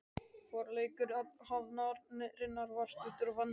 Forleikur athafnarinnar var stuttur og vandræðalegur.